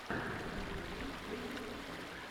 в ютубе леха технарь